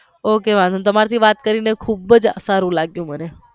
ok વાંધો નહિ તમારી થી વાત કરી ને ખુબ જ સારું લાગ્યું મને.